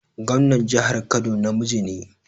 Gwamnan jihar Kano namiji ne